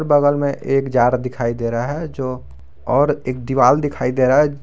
बगल में एक जार दिखाई दे रहा है जो और एक दीवाल दिखाई दे रहा है।